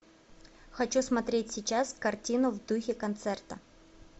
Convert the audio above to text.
хочу смотреть сейчас картину в духе концерта